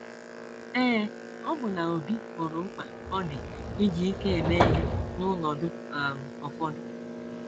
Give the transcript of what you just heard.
Ee, ọbụna Obi hụrụ mkpa ọ dị iji ike eme ihe n’ọnọdụ um ụfọdụ.